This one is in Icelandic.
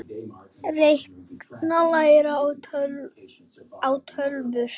Reikna- læra á tölvur